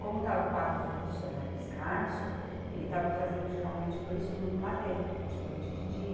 Como estava o quadro de funcionário escasso, ele estava fazendo geralmente dois turnos lá dentro, de noite e de dia.